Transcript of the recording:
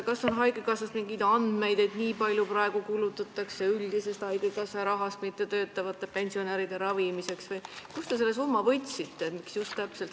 Kas on haigekassas mingeid andmeid, et nii palju kulutatakse praegu üldisest haigekassa rahast mittetöötavate pensionäride ravimiseks või kust te selle summa võtsite?